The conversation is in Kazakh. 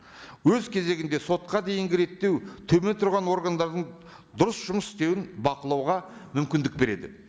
өз кезегінде сотқа дейінгі реттеу төмен тұрған органдардың дұрыс жұмыс істеуін бақылауға мүмкіндік береді